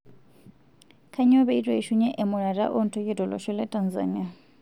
Kanyio petu eishunye emurata ontoyie tolosho le Tanzania?